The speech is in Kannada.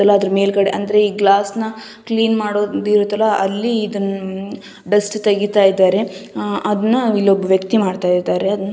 ಎಲ್ಲಾದ್ರೂ ಮೇಲ್ಗಡೆ ಅಂದ್ರೆ ಈ ಗ್ಲಾಸ್ಸ್ನ್ ಕ್ಲೀನ್ ಮಾಡೋದಿರುತ್ತಲ್ಲಾ ಅಲ್ಲಿ ಇದನ್ ಹ್ಮ್ ಡಸ್ಟ್ ತೆಗೀತಾ ಇದ್ದಾರೆ ಅಹ್ ಅದನ್ನ ಇಲ್ ಒಬ್ಬ ವ್ಯಕ್ತಿ ಮಾಡ್ತಾ ಇದ್ದಾರೆ ಅದ --